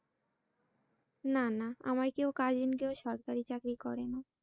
না না আমার কেউ cousin কেউ সরকারি চাকরি করেনা